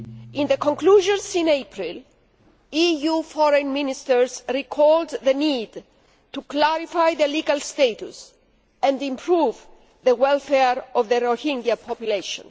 In their conclusions in April, EU Foreign Ministers recalled the need to clarify the legal status and improve the welfare of the Rohingya population.